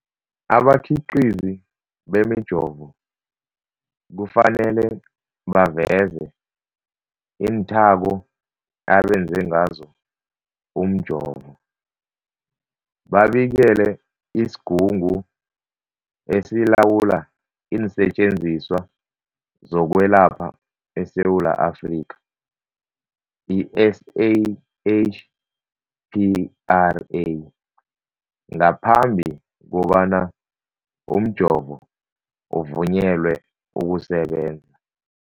Abakhiqizi bemijovo kufanele baveze iinthako abenze ngazo umjovo, babikele isiGungu esiLawula iinSetjenziswa zokweLapha eSewula Afrika, i-SAHPRA, ngaphambi kobana umjovo uvunyelwe ukusebenza.